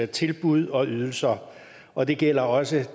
tilbud og ydelser og det gælder også